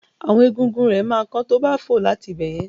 Àwọn egungun rẹ ma kán tobá fò láti ibẹ̀yẹn.